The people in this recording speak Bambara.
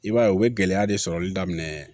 I b'a ye u bɛ gɛlɛya de sɔrɔli daminɛ